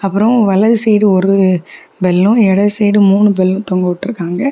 அப்ரோ வலது சைடு ஒரு பெல்லு இடது சைடு மூணு பெல்லும் தொங்க விட்டு இருக்காங்க.